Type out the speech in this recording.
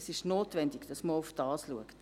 Es ist notwendig, dass man auch darauf schaut.